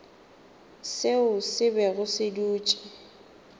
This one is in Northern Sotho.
seo se bego se dutše